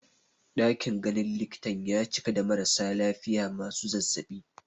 Ɗakin ganin likitan ya cika da marasa lafiya masu zazzaɓi